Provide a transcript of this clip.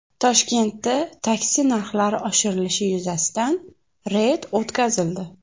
Toshkentda taksi narxlari oshirilishi yuzasidan reyd o‘tkazildi.